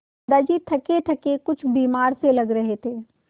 दादाजी थकेथके कुछ बीमार से लग रहे थे